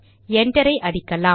enter விசையை அடிக்கலாம்